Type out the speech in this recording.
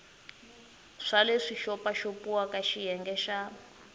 swa leswi xopaxopiwaka xiyenge xa